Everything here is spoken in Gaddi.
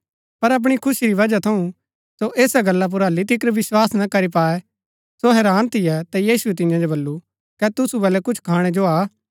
पर अपणी खुशी री वजह थऊँ सो ऐसा गल्ला पुर हल्ली तिकर भी विस्वास ना करी पाऐ सो हैरान थियै ता यीशुऐ तियां जो बल्लू कै तुसु बलै कुछ खाणै जो हा